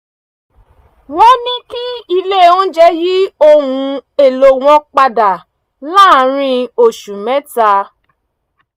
wọ́n ní kí ilé oúnjẹ yí ohun èlò wọn padà láàárín oṣù mẹ́ta